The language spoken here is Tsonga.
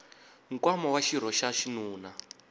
nkwama wa xirho xa xinuna